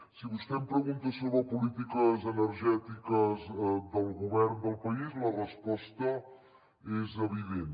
si vostè em pregunta sobre polítiques energètiques del govern del país la resposta és evident